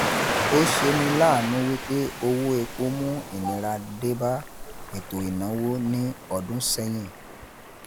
Ọ ṣe ni láànú wí pé owó epo mú ìnira denba eto ìnáwó ní ọdún sẹ́yin